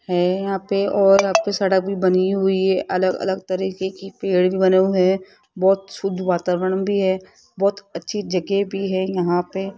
है यहां पे और अब की सड़क भी बनी हुई है अलग-अलग तरीके की पेड़ भी बने हुए है बहोत शुद्ध वातावरण भी है बहोत अच्छी जगह भी है यहां पे --